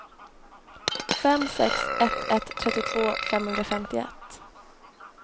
fem sex ett ett trettiotvå femhundrafemtioett